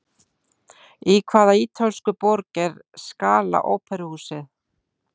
Í hvaða ítölsku borg er Scala óperuhúsið?